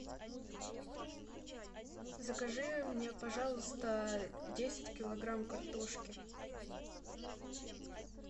закажи мне пожалуйста десять килограмм картошки